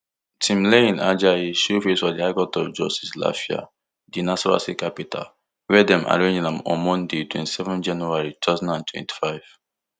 timileyin ajayi show face for di high court of justice lafia di nasarawa state capital wia dem arraign am on monday twenty-seven january two thousand and twenty-five